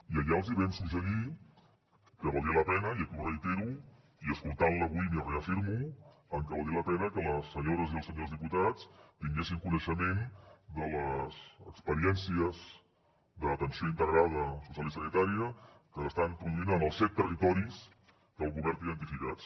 i allà els hi vam suggerir que valdria la pena i aquí ho reitero i escoltant la avui m’hi reafirmo que les senyores i els senyors diputats tinguessin coneixement de les experiències d’atenció integrada social i sanitària que s’estan produint en els set territoris que el govern té identificats